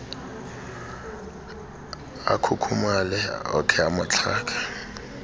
akhukhumale okhe amaxhaga